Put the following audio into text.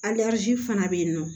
fana bɛ yen nɔ